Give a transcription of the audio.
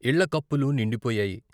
ఇళ్ళ కప్పులు నిండిపోయాయి.